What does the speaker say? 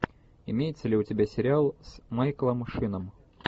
имеется ли у тебя сериал с майклом шином